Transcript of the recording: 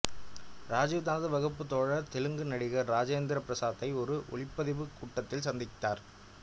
ராஜீவ் தனது வகுப்பு தோழர் தெலுங்கு நடிகர் ராஜேந்திர பிரசாத்தை ஒரு ஒலிப்பதிவுக் கூடத்தில் சந்தித்தார்